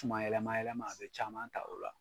Tuma yɛlɛmayɛlɛma a be caman ta o la;